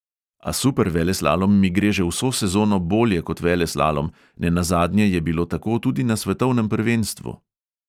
A superveleslalom mi gre že vso sezono bolje kot veleslalom, nenazadnje je bilo tako tudi na svetovnem prvenstvu.